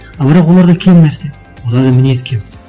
а бірақ оларда кем нәрсе оларда мінез кем